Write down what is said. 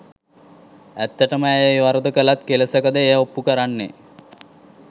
ඇත්තටම ඇය ඒ වරද කලත් කෙලෙසකද එය ඔප්පු කරන්නේ.